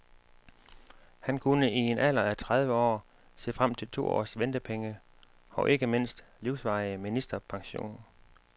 Han kunne i en alder af tredive år se frem til to års ventepenge og, ikke mindst, livsvarig ministerpension.